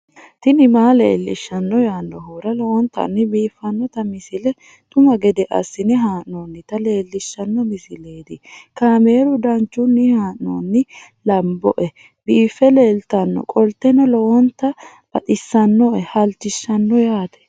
tini maa leelishshanno yaannohura lowonta biiffanota misile xuma gede assine haa'noonnita leellishshanno misileeti kaameru danchunni haa'noonni lamboe biiffe leeeltannoqolten lowonta baxissannoe halchishshanno yaate